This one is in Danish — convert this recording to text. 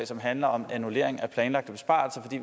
som handler om annullering af planlagte besparelser i